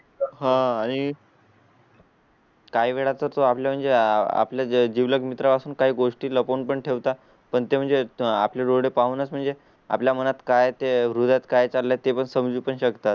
हां. आणि. काही वेळा तच तो आपल्या म्हणजे आपल्या जिवलग मित्रा पासून काही गोष्टी ला पण ठेवता पण ते म्हणजे आपले डोळे पाहूनच म्हणजे आपल्या मनात काय तें व्रत काय चालले आहे ते पण समजून शकतात.